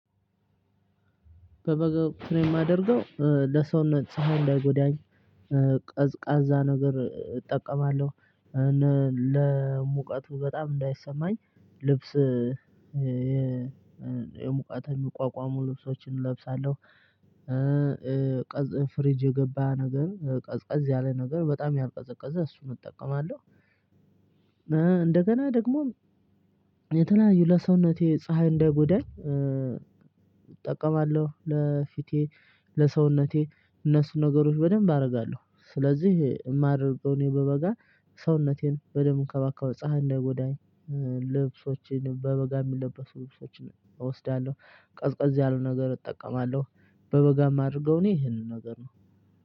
በጋ ወቅት እኔ የማደርገው ለሰውነት ፀሀይ ፀሀይ እንዳይጎዳኝ ቀዝቃዛ ነገር እጠቀማለሁ። ለሙቀቱ በጣም እንዳይሰማኝ ልብስ የሙቀትን የሚቋቋሙ ልብሶችን እለብሳለሁ፣ ቀዝብ ፍሪጅ የገባ ነገር ቀዝ ቀዝ ያለ ነገር በጣም ያልቀዘቀዘ እሱን እጠቀማለሁ። እንደገና ደግሞ የተለያዩ ለሰውነቴ ፀሀይ እንደይጉዳኝ እጠቀማለሁ ለፊቴ ለሰውነቴ እነሱን ነገሮች በደንብ አደርጋለሁ። ስለዚህ የማደርገው እኔ በበጋ ሰውነቴን በደንብ እንከባካው ፀሀይ እንዳይጎዳኝ። ልብሶችን በበጋ የሚለበሱ ልብሶችን እወስዳለሁ፣ ቀዝቀዝ ያሉ ነገር እጠቀማለሁ። በበጋ የማደርገው እኔ ይሄንን ነገር ነው።